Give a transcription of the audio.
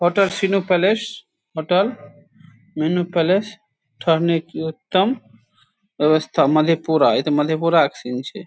Hotel सीनू place hotel मीनू place ठहरने के उत्तम व्यवस्था मधेपुरा इ ते मधेपुरा के सीन छीये।